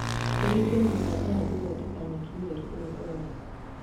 ũhingũre mũbango wa gũthondeka nyeki mweri ũyũ ũroka